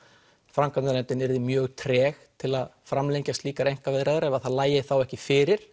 framkvæmdanefndin yrði mjög treg til að framlengja slíkar ef það lægi þá ekki fyrir